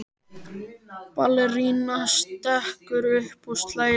Ballerínan stekkur upp og slær í.